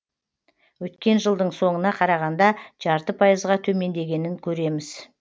өткен жылдың соңына қарағанда жарты пайызға төмендегенін көреміз